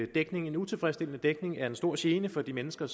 dækning en utilfredsstillende dækning er en stor gene for de mennesker